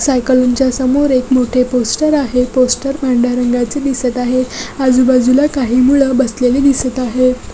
साईकलाच्या समोर एक मोठे पोस्टर आहे. पोस्टर पांढर्‍या रंगाचे दिसत आहे. आजूबाजूला काही मूल बसलेली दिसत आहे.